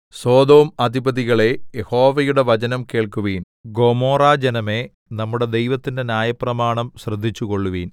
Sodom അധിപതികളേ യഹോവയുടെ വചനം കേൾക്കുവിൻ ഗൊമോറാജനമേ നമ്മുടെ ദൈവത്തിന്റെ ന്യായപ്രമാണം ശ്രദ്ധിച്ചുകൊള്ളുവിൻ